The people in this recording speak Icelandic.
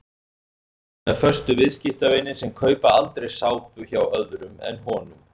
Hefur sína föstu viðskiptavini sem kaupa aldrei sápu hjá öðrum en honum.